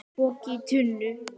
Poki í tunnu